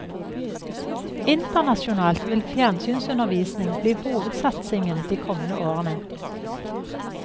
Internasjonalt vil fjernsynsundervisning bli hovedsatsingen de kommende årene.